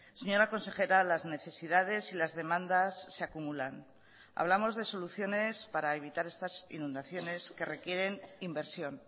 señora consejera las necesidades y las demandas se acumulan hablamos de soluciones para evitar estas inundaciones que requieren inversión